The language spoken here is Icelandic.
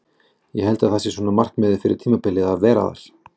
Ég held að það sé svona markmiðið fyrir tímabilið að vera þar.